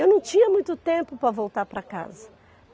Eu não tinha muito tempo para voltar para casa.